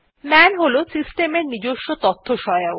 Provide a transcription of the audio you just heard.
মান হল সিস্টেম এর নিজস্ব তথ্যসহায়ক